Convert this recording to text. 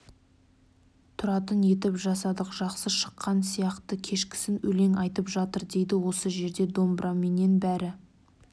тұратын етіп жасадық жақсы шыққан сияқты кешкісін өлең айтып жатыр дейді осы жерде домбыраменен бәрі